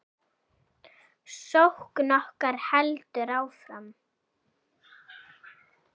Sókn okkar heldur áfram.